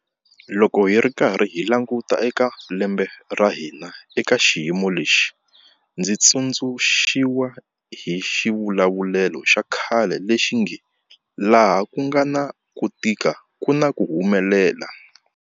Loko hi karhi hi languta eka lembe ra hina eka xiyimo lexi, ndzi tsundzuxiwa hi xivulavulelo xa khale lexi nge laha ku nga na ku tika ku na ku humelela.